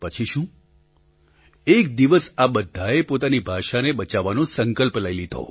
પછી શું એક દિવસ આ બધાએ પોતાની ભાષાને બચાવવાનો સંકલ્પ લઈ લીધો